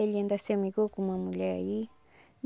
Ele ainda se amigou com uma mulher aí.